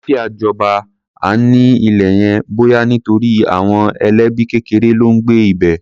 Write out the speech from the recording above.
Àlàáfíà jọba an-an ní ilé yẹn, bóyá nítorí àwọn ẹlẹ́bí kékeré ló ń gbé ibẹ̀.